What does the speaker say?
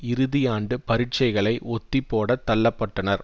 இறுதி ஆண்டு பரீட்சைகளை ஒத்திப் போட தள்ள பட்டனர்